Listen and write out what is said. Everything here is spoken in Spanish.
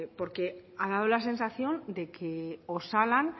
porque ha dado la sensación de que osalan